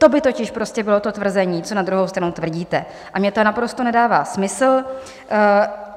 To by totiž prostě bylo to tvrzení, co na druhou stranu tvrdíte, a mně to naprosto nedává smysl.